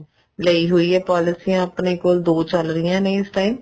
ਲਈ ਹੋਈ ਆ ਪੋਲੀਸਿਆਂ ਆਪਣੇ ਕੋਲ ਦੋ ਚੱਲ ਰਹੀਆਂ ਨੇ ਇਸ time